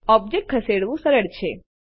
ઓબ્જેક્ટખસેડવું સરળ છે